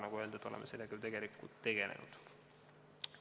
Nagu öeldud, oleme sellega tegelenud.